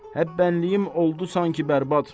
Həbbənliyim oldu sanki bərbad.